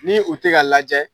Ni u tɛ ka lajɛ